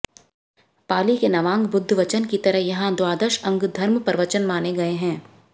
पालि के नवांग बुद्ध वचन की तरह यहाँ द्वाद श अंग धर्मप्रवचन माने गये हैं